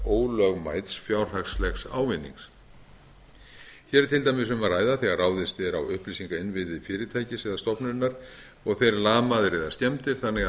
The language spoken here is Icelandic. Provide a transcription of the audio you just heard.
ólögmæts fjárhagslegs ávinnings hér er til dæmis um að ræða þegar ráðist er á upplýsingainnviði fyrirtækis eða stofnunar og þeir lamaðir eða skemmdir þannig að